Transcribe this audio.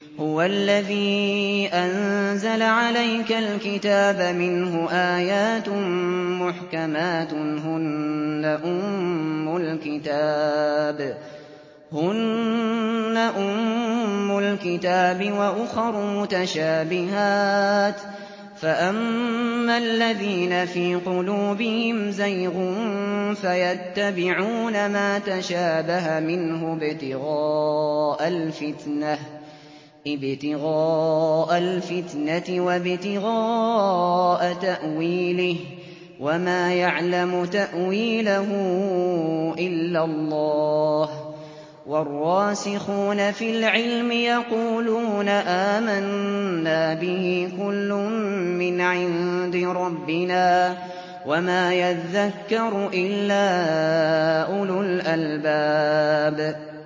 هُوَ الَّذِي أَنزَلَ عَلَيْكَ الْكِتَابَ مِنْهُ آيَاتٌ مُّحْكَمَاتٌ هُنَّ أُمُّ الْكِتَابِ وَأُخَرُ مُتَشَابِهَاتٌ ۖ فَأَمَّا الَّذِينَ فِي قُلُوبِهِمْ زَيْغٌ فَيَتَّبِعُونَ مَا تَشَابَهَ مِنْهُ ابْتِغَاءَ الْفِتْنَةِ وَابْتِغَاءَ تَأْوِيلِهِ ۗ وَمَا يَعْلَمُ تَأْوِيلَهُ إِلَّا اللَّهُ ۗ وَالرَّاسِخُونَ فِي الْعِلْمِ يَقُولُونَ آمَنَّا بِهِ كُلٌّ مِّنْ عِندِ رَبِّنَا ۗ وَمَا يَذَّكَّرُ إِلَّا أُولُو الْأَلْبَابِ